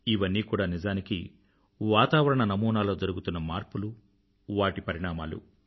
ఇవన్నీ కూడా నిజానికి వాతావరణ నమూనాలో జరుగుతున్న మార్పులు వాటి పరిణామాలు